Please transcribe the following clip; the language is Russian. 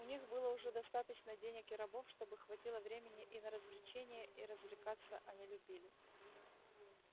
у них было уже достаточно денег и рабов чтобы хватило времени и на развлечения и развлекаться они любили